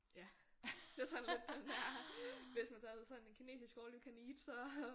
Ja det er sådan lidt den der hvis man tager på sådan en kinesisk all you can eat så